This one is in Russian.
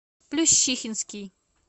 плющихинский